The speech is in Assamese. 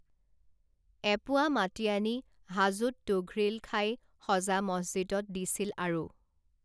এপোৱা মাটি আনি হাজোত তুঘ্ৰীলখাই সজা মছজিদত দিছিল আৰু